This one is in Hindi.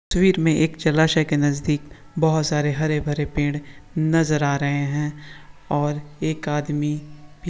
तस्वीर मैं एक जलाशय के नजदीक बहुत सारे हरे भरे पेड़ नजर आ रहे है और एक आदमी--